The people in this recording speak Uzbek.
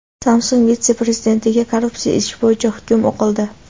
Samsung vitse-prezidentiga korrupsiya ishi bo‘yicha hukm o‘qildi.